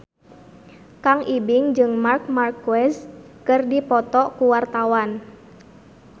Kang Ibing jeung Marc Marquez keur dipoto ku wartawan